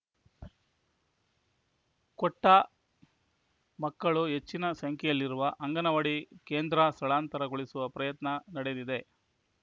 ಕೊಟ್ಟ ಮಕ್ಕಳು ಹೆಚ್ಚಿನ ಸಂಖ್ಯೆಯಲ್ಲಿರುವ ಈ ಅಂಗನವಾಡಿ ಕೇಂದ್ರ ಸ್ಥಳಾಂತರಗೊಳಿಸುವ ಪ್ರಯತ್ನ ನಡೆದಿದೆ